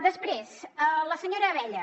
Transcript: després a la senyora abella